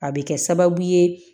A bɛ kɛ sababu ye